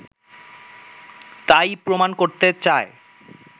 তাই-ই প্রমাণ করতে চায়